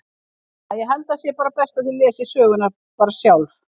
Æ, ég held að það sé best að þið lesið söguna bara sjálf.